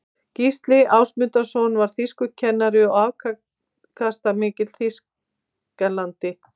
gísli ásmundsson var þýskukennari og afkastamikill þýðandi